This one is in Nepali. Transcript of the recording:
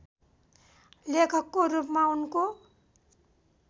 लेखकको रूपमा उनको